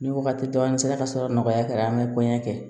Ni wagati dɔ nin sera ka sɔrɔ nɔgɔya kɛra an bɛ kɔɲɔ kɛ